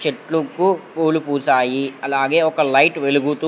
చెట్లుకు పూలు పూసాయి అలాగే ఒక లైట్ వెలుగుతూ--